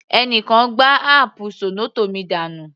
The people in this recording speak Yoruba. Ẹni kan gbá áápù zornoto mi dànù.